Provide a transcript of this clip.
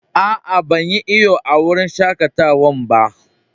Aa, ban yi iyo a'wurin shakatawan ba.